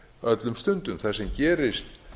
öllum stundum það sem gerist